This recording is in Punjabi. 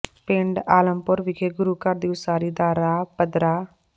ਪਿੰਡ ਆਲਮਪੁਰ ਵਿਖੇ ਗੁਰੂ ਘਰ ਦੀ ਉਸਾਰੀ ਦਾ ਰਾਹ ਪੱਧਰਾ